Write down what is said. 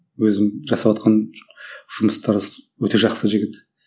өзім жасаватқан жұмыстары өте жақсы жігіт